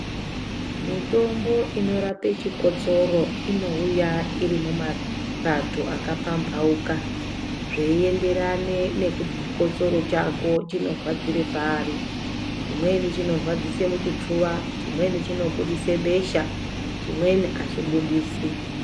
Mitombo inorape chikosoro, inowuya irimumapato akapambauka ,zviyienderane nekuti chikosoro chako chinorwadzira pari. Chimweni chinirwadzise muchipfuva ,chimweni chinoburitse besha chimweni hachibuditsi.